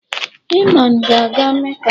Iman ga aga Meca